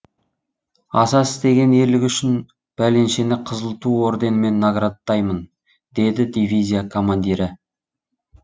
аса істеген ерлігі үшін бәленшені қызыл ту орденімен наградтаймын деді дивизия командирі